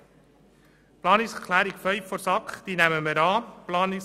Zu Planungserklärung 5 der SAK: Diese nehmen wir an.